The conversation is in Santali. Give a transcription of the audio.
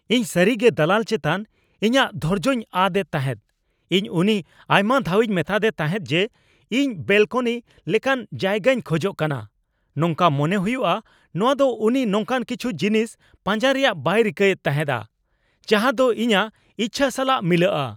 ᱤᱧ ᱥᱟᱹᱨᱤᱜᱮ ᱫᱟᱞᱟᱞ ᱪᱮᱛᱟᱱ ᱤᱧᱟᱹᱜ ᱫᱷᱚᱨᱡᱳᱧ ᱟᱫ ᱮᱫ ᱛᱟᱦᱮᱫ ᱾ ᱤᱧ ᱩᱱᱤ ᱟᱭᱢᱟ ᱫᱷᱟᱣᱤᱧ ᱢᱮᱛᱟᱫᱮ ᱛᱟᱦᱮᱫ ᱡᱮ ᱤᱧ ᱵᱮᱞᱠᱚᱱᱤ ᱞᱮᱠᱟᱱ ᱡᱟᱭᱜᱟᱧ ᱠᱷᱚᱡᱚᱜ ᱠᱟᱱᱟ ᱾ ᱱᱚᱝᱠᱟ ᱢᱚᱱᱮ ᱦᱩᱭᱩᱜᱼᱟ ᱱᱚᱶᱟ ᱫᱚ ᱩᱱᱤ ᱱᱚᱝᱠᱟᱱ ᱠᱤᱪᱷᱩ ᱡᱤᱱᱤᱥ ᱯᱟᱸᱡᱟ ᱨᱮᱭᱟᱜ ᱵᱟᱭ ᱨᱤᱠᱟᱹᱭᱮᱫ ᱛᱟᱦᱮᱸᱜᱼᱟ ᱡᱟᱦᱟᱫᱚ ᱤᱧᱟᱹᱜ ᱤᱪᱪᱷᱟ ᱥᱟᱞᱟᱜ ᱢᱤᱞᱟᱹᱜᱼᱟ ᱾